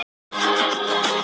Ég lofa þér því.